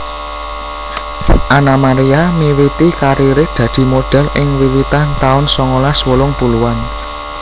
Anna Maria miwiti kariré dadi modhel ing wiwitan taun songolas wolung puluhan